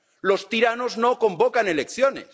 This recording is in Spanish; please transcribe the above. Los tiranos no convocan elecciones.